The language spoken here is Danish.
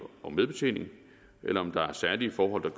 og medbetjening eller om der er særlige forhold